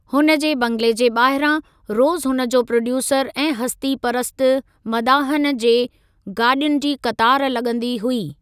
हुन जे बंगले जे ॿाहिरां रोज़ु हुन जे प्रोड्यूसर ऐं हस्ती परस्त मदाहन जे गाॾियुनि जी क़तार लॻंदी हुई।